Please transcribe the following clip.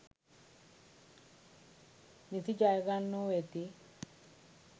නිති ජය ගන්නෝ වෙති.